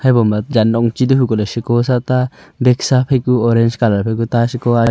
haiboma jan nongchi to hu ko ley siko sa ta bag sa phai ku orange colour phai ku ta siko.